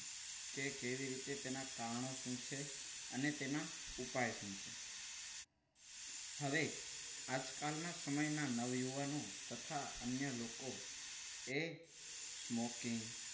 તે કેવી રીતે તેના કારણો શું છે અને તેના ઉપાય શું છે? હવે આજકાલના સમયના નવ યુવાનો તથા અન્ય લોકો એ smoking